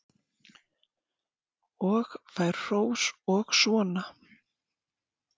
Og fær hrós og svona.